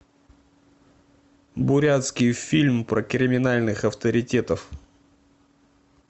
бурятский фильм про криминальных авторитетов